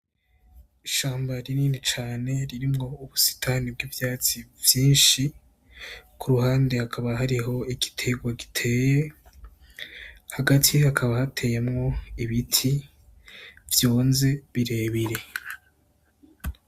Ishamba rinini cane ririmwo ubusitani bw'ivyatsi vyinshi, ku ruhande hakaba hariho igiterwa giteye, hagati hakaba hateyemwo ibiti vyunze birebire.